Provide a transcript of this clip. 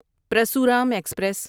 Parashuram express